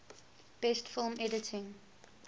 best film editing